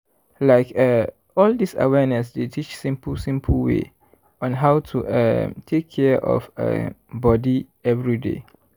like eh all dis awareness dey teach simple simple way on how to um take care of um body everyday.